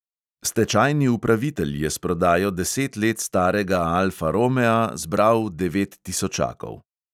Stečajni upravitelj je s prodajo deset let starega alfa romea zbral devet tisočakov.